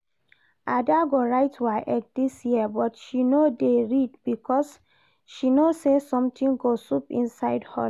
Ada go write WAEC this year but she no dey read because she no say something go sup inside hall